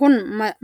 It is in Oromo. Kun,